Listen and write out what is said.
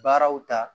Baaraw ta